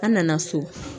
An nana so